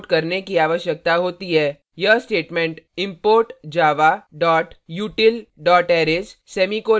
यह statement import java util arrays semicolon के कारण पूरा होता है